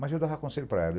Mas eu dava conselho para ela.